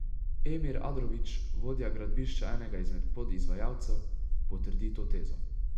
Emir Adrović, vodja gradbišča enega izmed podizvajalcev, potrdi to tezo.